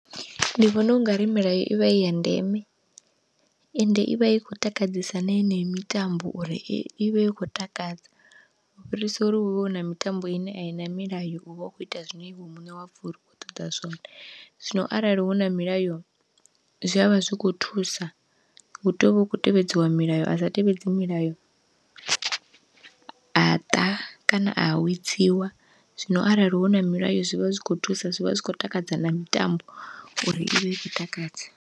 Ndi vhona ungari milayo ivha iya ndeme, ende ivha i khou takadzesa na yeneyo mitambo uri i vha i khou takadza u fhirisa uri huvhe huna mitambo ine aina milayo uvha u kho ita zwine iwe muṋe wapfha uri u khou ṱoḓa zwone. Zwino arali huna milayo zwi avha zwi kho thusa hu tea uvha hu khou tevhedziwa milayo a sa tevhedzi milayo a ṱa, kana a awedziwa. Zwino arali huna milayo zwivha zwikho thusa zwi vha zwi khou takadza na mitambo uri ivhe i khou takadze.